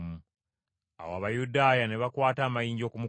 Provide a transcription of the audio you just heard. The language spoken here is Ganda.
Awo Abayudaaya ne bakwata amayinja okumukuba.